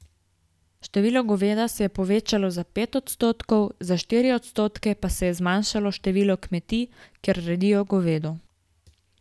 Število goveda se je povečalo za pet odstotkov, za štiri odstotke pa se je zmanjšalo število kmetij, kjer redijo govedo.